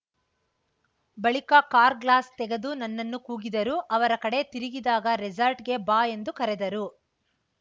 ಬಳಿಕ car glass ತೆಗೆದು ನನ್ನನ್ನು ಕೂಗಿದರು ಅವರ ಕಡೆ ತಿರುಗಿದಾಗ ರೆಸಾರ್ಟ್‌ಗೆ ಬಾ ಎಂದು ಕರೆದರು